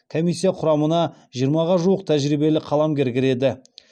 комиссия құрамына жиырмаға жуық тәжірибелі қаламгер кіреді